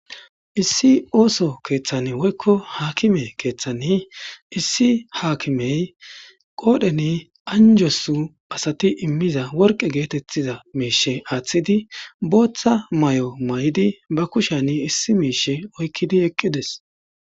Issi ooso keththan woyikko hakime keththani issi hakkime kodhdhen anjosu imizza worikke geththetiza aththida botta mayo mayidi bakushshen issi mishsha oyikidi eqides.